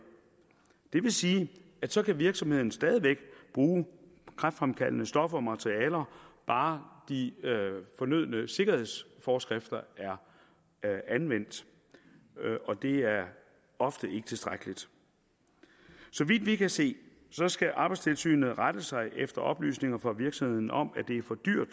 det vil sige at så kan virksomheden stadig væk bruge kræftfremkaldende stoffer og materialer bare de fornødne sikkerhedsforskrifter er anvendt og det er ofte ikke tilstrækkeligt så vidt vi kan se skal arbejdstilsynet rette sig efter oplysninger fra virksomheden om at det er for dyrt